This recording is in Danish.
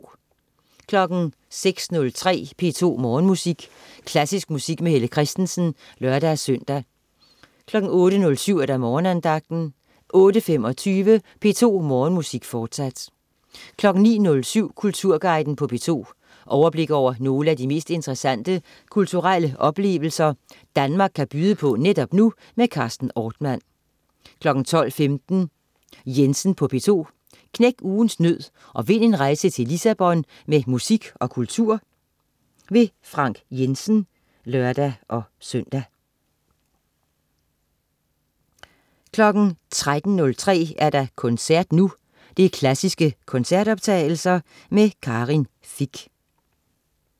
06.03 P2 Morgenmusik. Klassisk musik med Helle Kristensen (lør-søn) 08.07 Morgenandagten 08.25 P2 Morgenmusik, fortsat 09.07 Kulturguiden på P2. Overblik over nogle af de mest interessante kulturelle oplevelser, Danmark kan byde på netop nu. Carsten Ortmann 12.15 Jensen på P2. Knæk ugens nød og vind en rejse til Lissabon med musik og kultur. Frank Jensen (lør-søn) 13.03 Koncert nu. Klassiske koncertoptagelser. Karin Fich